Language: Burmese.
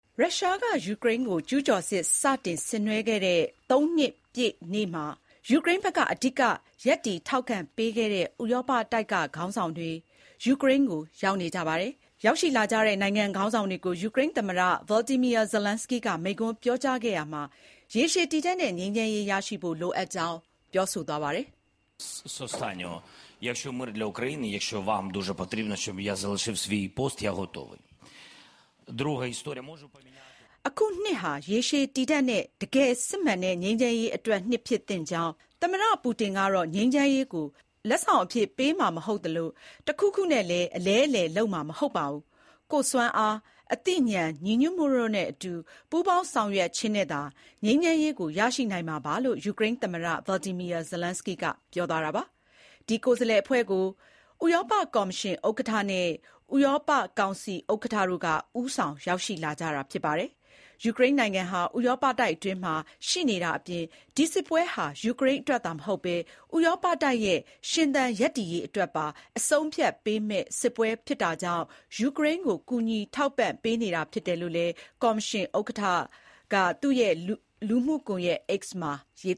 ရုရှားကယူကရိန်းကို ကျူးကျော်စစ်စတင်ဆင်နွဲခဲ့တဲ့ ၃ နှစ်ပြည့်နေ့မှာ ယူကရိန်းဘက်က အဓိက ရပ်တည် ထောက်ခံပေးခဲ့တဲ့ ဥရောပတိုက်ကခေါင်းဆောင်တွေ ယူကရိန်းကို ရောက်နေကြပါတယ်။ စစ်ပွဲ နှစ်ပတ်လည်နေ့အဖြစ် ယူကရိန်းသမ္မတ Volodymyr Zelensky ကမိန့်ခွန်း ပြောကြားရာမှာတော့ ရေရှည်တည်တံ့တဲ့ ငြိမ်းချမ်းရေးရရှိဖို့ ရုရှားသမ္မတ Vladimir Putin က အလွယ်တကူ လိုက်လျောမှာ မဟုတ်ကြောင်း သတိပေးခဲ့တာပါ။ “ဒီနှစ်ဟာ ရေရှည်တည်တံ့တဲ့ တကယ့်စစ်မှန်တဲ့ငြိမ်းချမ်းရေးအတွက်နှစ် ဖြစ်သင့်ပါတယ်။ ပူတင်ကတော့ ငြိမ်းချမ်းရေးကို လက်ဆောင်အဖြစ်ပေးမှာမဟုတ်ပါဘူး၊ တခုခုနဲ့လည်း အလဲအလှယ် လုပ်မှာမဟုတ်ပါဘူး။ ကျနော်တို့ဟာ ကိုယ့်စွမ်းအား၊ အသိဉာဏ်၊ ညီညွတ်မှုတို့နဲ့အတူ ပူးပေါင်းဆောင်ရွက်ခြင်းနဲ့သာ ငြိမ်းချမ်းရေးကို ရရှိနိုင်မှာပါ” - လို့ ပြောသွားတာပါ။ Kyiv မြို့တော်ကို ရောက်နေတဲ့ ဥရောပကိုယ်စားလှယ်အဖွဲ့ကို ဥရောပကော်မရှင်ဥက္ကဋ္ဌ Ursula von der Leyen နဲ့ ဥရောပကောင်စီဥက္ကဋ္ဌ Antonio Costa တို့က ဦးဆောင်ခဲ့ကြတာပါ။ ယူကရိန်းနိုင်ငံဟာ ဥရောပတိုက်အတွင်းမှာ ရှိနေတဲ့အပြင် ဒီစစ်ပွဲဟာ ယူကရိန်းအတွက်သာမဟုတ်ဘဲ ဥရောပတိုက်ရဲ့ ရှင်သန် ရပ်တည်ရေးအတွက်ပါ အဆုံးအဖြတ်ပေးမယ့် စစ်ပွဲဖြစ်တာကြောင့် ယူကရိန်းကို ကူညီ ထောက်ပံ့ပေးနေတာ ဖြစ်တယ်လို့ ကော်မရှင်ဥက္ကဋ္ဌ Ursula von der Leyen က X လူမှုကွန်ယက်မှာ ရေး